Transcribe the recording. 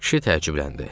Kişi təəccübləndi.